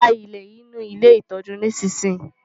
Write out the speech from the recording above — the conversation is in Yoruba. Gba ilẹ̀ inú ilé ìtọ́jú nísinsìnyí!